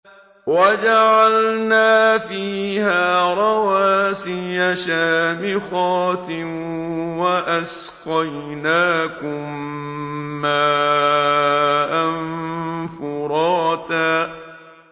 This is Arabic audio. وَجَعَلْنَا فِيهَا رَوَاسِيَ شَامِخَاتٍ وَأَسْقَيْنَاكُم مَّاءً فُرَاتًا